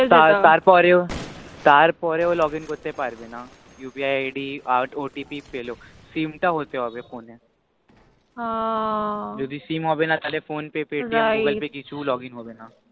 তারপর এও তারপর এও login করতে পারবে না upi id OTP পেলেও sim তা হতে হোন ফোন এ হাঁ যদি sim হবে না তাহলে right phone pay paytm google pay কিছুই login হবে না হ্য়াঁ